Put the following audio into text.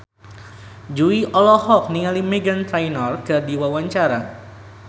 Jui olohok ningali Meghan Trainor keur diwawancara